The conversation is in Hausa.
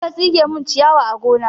Je ka tsige min ciyawa a gona!